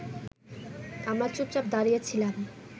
আমরা চুপচাপ দাঁড়িয়ে ছিলাম